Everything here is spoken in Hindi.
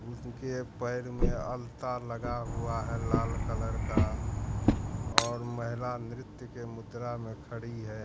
उनके पैर में अल्ता लगा हुआ हैं लाल कलर का और महिला नृत्य के मुद्रा में खड़ी है।